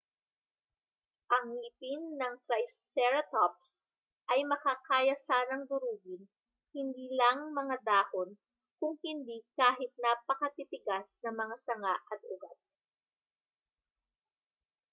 ang ngipin ng triceratops ay makakaya sanang durugin hindi lang mga dahon kung hindi kahit napakatitigas na mga sanga at ugat